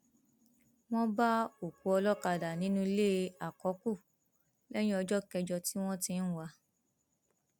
wọn bá òkú olókàdá nínú ilé àkọkù lẹyìn ọjọ kẹjọ tí wọn ti ń wá a